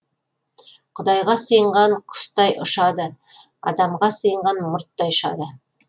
құдайға сыйынған құстай ұшады адамға сыйынған мұрттай ұшады